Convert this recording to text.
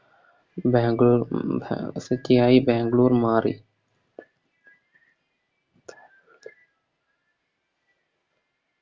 Bangalore City ആയി ബാംഗ്ലൂർ മാറി